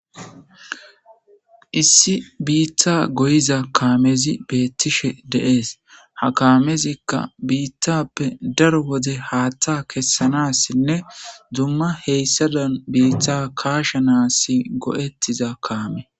issi biitta goyiza kaamezi betiishshe de'ees ha kaamezikka biittappe daro wode haatta kessanassinne dumma heyssazan biitta kaasha naassi go'ettiza kaame